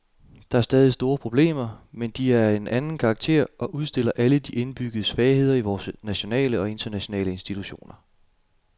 Der er stadig store problemer, men de er af en anden karakter og udstiller alle de indbyggede svagheder i vore nationale og internationale institutioner.